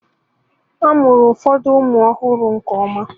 A mụrụ ụfọdụ ụmụ ọhụrụ nke ọma